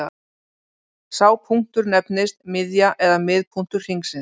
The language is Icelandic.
Sá punktur nefnist miðja eða miðpunktur hringsins.